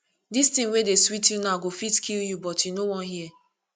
dis thing wey dey sweet you now go fit kill you but you no wan hear